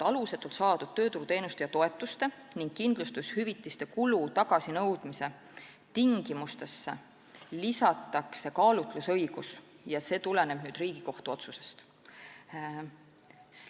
Alusetult saadud tööturuteenuste ja -toetuste ning kindlustushüvitiste kulu tagasinõudmise tingimustesse lisatakse kaalutlusõigus ja see tuleneb nüüd Riigikohtu otsusest.